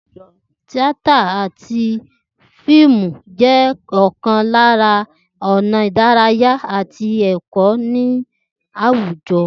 Tíátà àti fíìmù jé̩ ò̩kan lára ò̩nà ìdárayá àti è̩kó̩ ní àwùjo̩